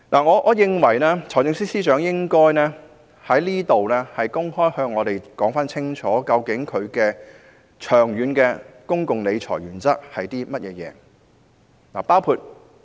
我認為財政司司長應該在此向我們公開說明，他的長遠公共理財原則是甚麼。